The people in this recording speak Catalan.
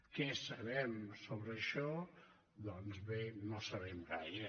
què sabem sobre això doncs bé no sabem gaire